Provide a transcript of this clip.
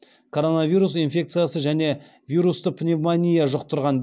коронавирус инфекциясы және вирусты пневмония жұқтырған